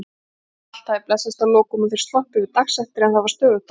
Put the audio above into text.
Allt hafði blessast að lokum og þeir sloppið við dagsektir en það var stöðugt álag.